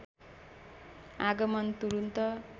आगमन तुरुन्त